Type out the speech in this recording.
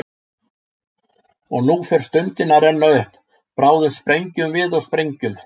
Og nú fer stundin að renna upp, bráðum sprengjum við og sprengjum.